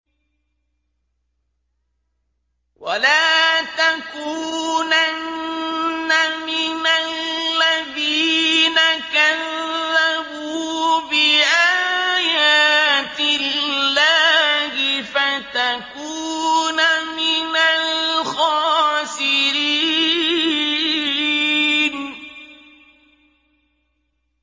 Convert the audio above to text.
وَلَا تَكُونَنَّ مِنَ الَّذِينَ كَذَّبُوا بِآيَاتِ اللَّهِ فَتَكُونَ مِنَ الْخَاسِرِينَ